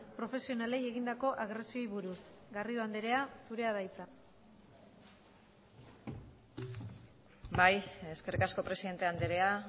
profesionalei egindako agresioei buruz garrido andrea zurea da hitza bai eskerrik asko presidente andrea